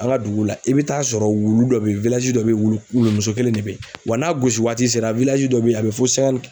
An ka dugu la i bɛ taa sɔrɔ wulu dɔ bɛ yen dɔ bɛ yen wulu wulu muso kelen de bɛ yen wa n'a gosiwaati sera dɔ bɛ yen a bɛ fɔ